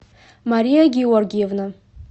мария гиоргиевна